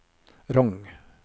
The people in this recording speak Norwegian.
Rong